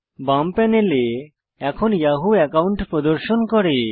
বাম প্যানেল এখন Yahoo account প্রদর্শন করে